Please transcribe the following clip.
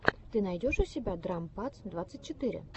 ты найдешь у себя драм падс двадцать четыре